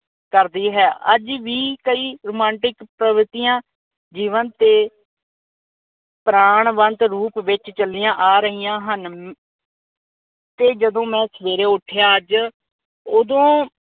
ਕਰਦੀ ਹੈ। ਅੱਜ ਵੀ ਕਈ ਰੋਮਾਂਟਿਕ ਪ੍ਰਗਤੀਆਂ ਜੀਵਨ ਤੇ ਪ੍ਰਾਨਵੰਤ ਰੂਪ ਤੇ ਚਲੀਆਂ ਆ ਰਹੀਆਂ ਹਨ ਅਮ ਤੇ ਜਦੋਂ ਮੈਂ ਸਵੇਰੇ ਉਠਿਆ ਅੱਜ ਉਦੋਂ